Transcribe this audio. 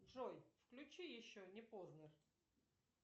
джой включи еще не позднер